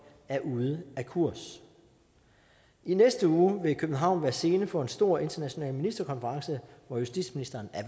er ude af kurs i næste uge vil københavn være scene for en stor international ministerkonference hvor justitsministeren